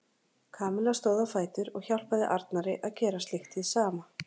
Kamilla stóð á fætur og hjálpaði Arnari að gera slíkt hið sama.